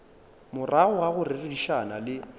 morago ga go rerišana le